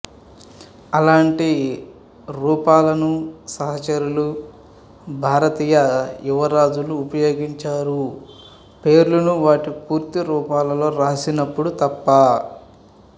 అలాంటి రూపాలను సహచరులు భారతీయ యువరాజులు ఉపయోగించరు పేర్లను వాటి పూర్తి రూపాల్లో రాసినపుడు తప్ప